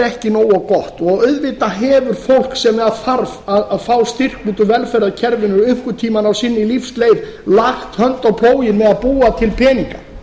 ekki nógu gott og auðvitað hefur fólk sem þarf að fá styrk undan velferðarkerfinu einhvern sína á lífsleið lagt hönd á plóginn með að búa til peninga